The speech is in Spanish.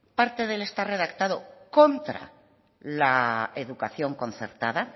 parte de él está redactado contra la educación concertada